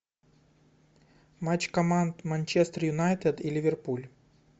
матч команд манчестер юнайтед и ливерпуль